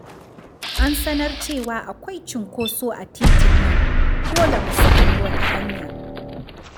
An sanar cewa akwai cunkoso a titin nan. Dole mu sami wata hanya.